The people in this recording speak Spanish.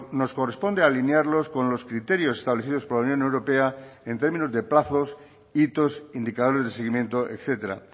nos corresponde alinearlos con los criterios establecidos por la unión europea en términos de plazos hitos indicadores de seguimiento etcétera